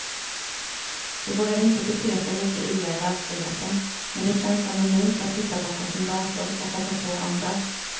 De vågar inte bete sig lika illa i verkligheten, men det känns anonymt att sitta bakom sin dator och hoppa på andra.